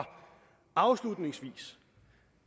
afslutningsvis